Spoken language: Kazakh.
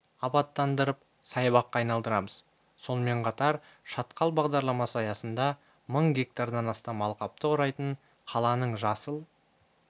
абаттандырып саябаққа айналдырамыз сонымен қатар шатқал бағдарламасы аясында мың гектардан астам алқапты құрайтын қаланың жасыл